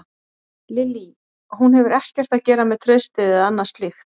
Lillý: Hún hefur ekkert að gera með traustið eða annað slíkt?